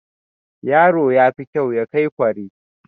Yaro yafi kyau ya kai kware